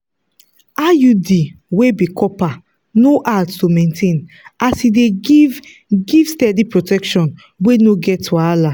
iud wey be copper no hard to maintain as e dey give give steady protection wey no get wahala.